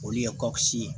Olu ye kɔsisi